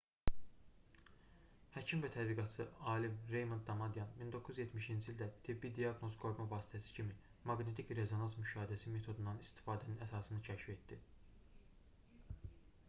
həkim və tədqiqatçı alim reymond damadyan 1970-ci ildə tibbi diaqnoz qoyma vasitəsi kimi maqnetik rezonans müşahidəsi metodundan istifadənin əsasını kəşf etdi